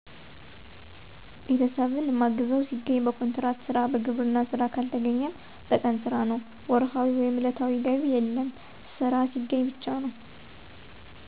ቤተሰብን ማግዘው ሲገኝ በኮንትራት ስራ፣ በግብርና ስራ ካልተገኘ በቀን ስራ ነው። ወርሀዊ/ዕለታዊ ገቢ የለም ስራ ሲገኝ ብቻ ነው።